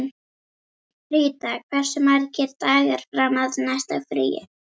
Ríta, hversu margir dagar fram að næsta fríi?